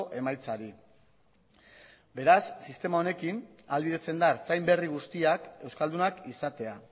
emaitzari beraz sistema honekin ahalbidetzen da ertzain berri guztiak euskaldunak izatea